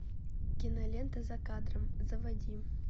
кинолента за кадром заводи